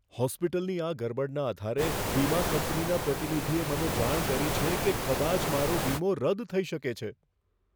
હોસ્પિટલની આ ગરબડના આધારે વીમા કંપનીના પ્રતિનિધિએ મને જાણ કરી છે કે કદાચ મારો વીમો રદ થઈ શકે છે.